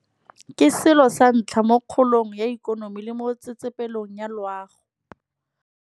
Ke selo sa ntlha mo kgolong ya ikonomi le mo tsetsepelong ya loago.